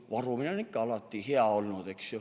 Varumine on alati hea olnud, eks ju.